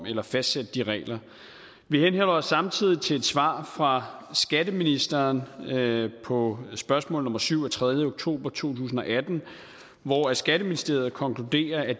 eller fastsætte de regler vi henholder os samtidig til et svar fra skatteministeren på spørgsmål nummer syv af tredje oktober to tusind og atten hvor skatteministeriet konkluderer at